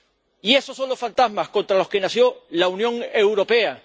Y esos son los fantasmas contra los que nació la Unión Europea